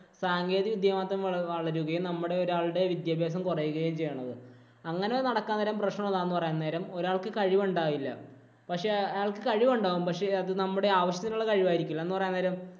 സാങ്കേതികവിദ്യ മാത്രം വളരുകയും, നമ്മളുടെ ഒരാളുടെ വിദ്യാഭ്യാസം കുറയുകയും ആണ് ചെയ്യുന്നത്. അങ്ങനെ നടക്കാൻ നേരം പ്രശ്നമെന്താന്ന് പറയാൻ നേരം ഒരാൾക്ക് കഴിവുണ്ടാകില്ല. പക്ഷേ അയാള്‍ക്ക് കഴിവുണ്ടാകും. പക്ഷേ നമ്മുടെ ആവശ്യത്തിനുള്ള കഴിവായിരിക്കില്ല. എന്ന് പറയാന്‍ നേരം